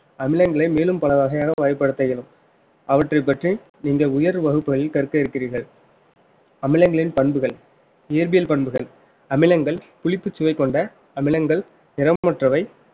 அமிலங்களை மேலும் பல வகையாக பயன்படுத்த இயலும் அவற்றைப் பற்றி நீங்கள் உயர்வு வகுப்புகளில் கற்க இருக்கிறீர்கள் அமிலங்களின் பண்புகள் இயற்பியல் பண்புகள் அமிலங்கள் புளிப்புச்சுவை கொண்ட அமிலங்கள் நிறமற்றவை